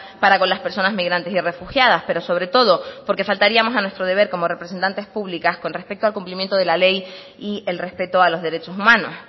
para con las personas migrantes y refugiadas pero sobre todo porque faltaríamos a nuestro deber como representantes públicas con respecto al complimiento de la ley y el respeto a los derechos humanos